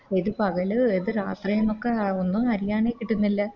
ഇത് പകല് ഇത് രാത്രിനൊക്കെ ഒന്നു അറിയാനെ കിട്ടുന്നില്ല